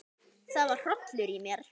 Það var hrollur í mér.